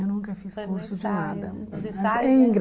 Eu nunca fiz curso de nada.